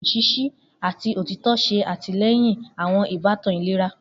Nini awọn ibaraẹnisọrọ ṣiṣi ati otitọ ṣe atilẹyin awọn ibatan ilera